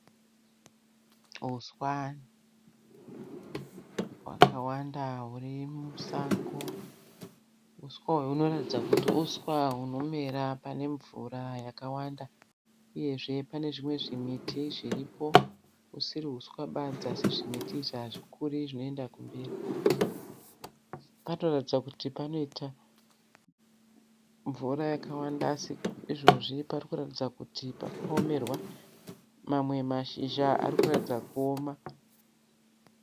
Huswa hwakawanda huri musango. Huswa uhwu hunoratidza kuti uswa hunomera panemvura yakawanda uyezve panezvimwe zvimiti zviripo usiri uswa badzi asi zvimiti izvi hazvikuri zvinoenda kumberi. Panoratidza kuti panoita mvura yakawanda asi izvezvi parikuratidza kuti pakaomerwa. Mamwe mashizha arikuratidza kuoma.